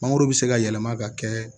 Mangoro bɛ se ka yɛlɛma ka kɛ